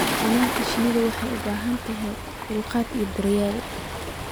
Xannaanada shinnidu waxay u baahan tahay dulqaad iyo daryeel.